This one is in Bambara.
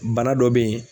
Bana dɔ bɛ yen